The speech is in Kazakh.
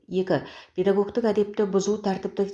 екі педагогтік әдепті бұзу тәртіптік